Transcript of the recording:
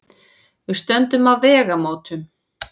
Við stöndum á vegamótum.